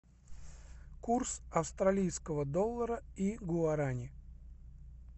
курс австралийского доллара и гуарани